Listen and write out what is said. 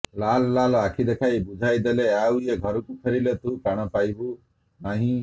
ଲାଲ୍ ଲାଲ୍ ଆଖି ଦେଖାଇ ବୁଝାଇ ଦେଲେ ଆଉ ଏ ଘରକୁ ଫେରିଲେ ତୁ ପ୍ରାଣ ପାଇବୁ ନାହିଁ